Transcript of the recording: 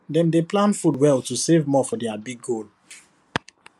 dem dey plan food well to save more for their big goal